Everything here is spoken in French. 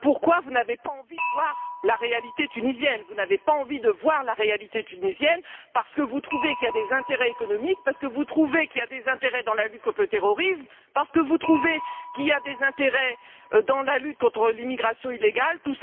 pourquoi vous n'avez pas envie de voir la réalité tunisienne. Vous n'avez pas envie de voir la réalité tunisienne, parce que vous trouvez qu'il y a des intérêts économiques, parce que vous trouvez qu'il y a des intérêts dans la lutte contre le terrorisme, parce que vous trouvez qu'il y a des intérêts dans la lutte contre l'immigration illégale en jeu.